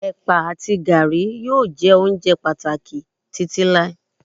ẹpa ati garri yíò jé ounjẹ pàtàkì Títí láíláí